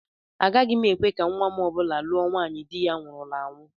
Agaghị m ekwe ka nnwa m ọ bụla lụọ nwaanyị di ya nwụrụla anwụ